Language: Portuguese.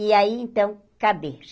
E aí, então, cadê?